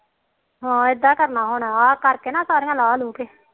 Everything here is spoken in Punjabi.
ਹਾ ਇਦਾ ਕਰਨਾ ਹੁਣ ਆਹ ਕਰਕੇ ਨਾ ਸਾਰਿਆ ਲਾਹ ਲੁਹ ਕੇ